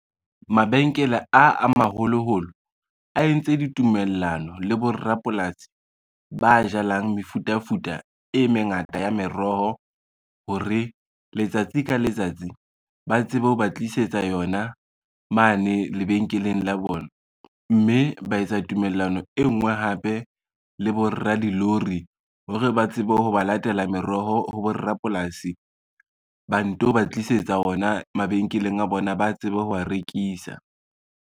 Mabenkele a a maholoholo a entse ditumellano le borapolasi ba jalang mefutafuta e mengata ya meroho hore letsatsi ka letsatsi, ba tsebe ho ba tlisetsa yona mane lebenkeleng la bona, mme ba etsa tumellano e ngwe hape le boradilori hore ba tsebe ho ba latela meroho, ho borapolasi ba nto ba tlisetsa ona mabenkeleng a bona, ba tsebe ho wa rekisa.